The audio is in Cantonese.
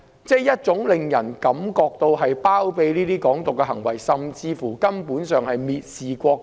這種行為有包庇"港獨"之嫌，甚至根本上是蔑視國家。